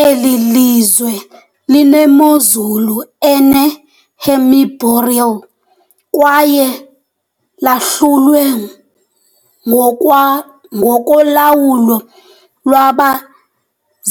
Eli lizwe linemozulu ene -hemiboreal kwaye lahlulwe ngokwa ngokolawulo lwaba